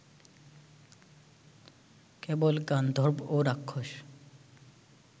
কেবল গান্ধর্ব ও রাক্ষস